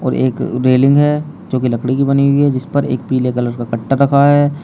और एक रेलिंग है जो कि लकड़ी की बनी हुई है जिस पर एक पीले कलर का कट्टा रखा है।